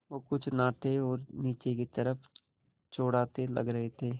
वो कुछ नाटे और नीचे की तरफ़ चौड़ाते लग रहे थे